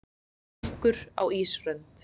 Minkur á ísrönd.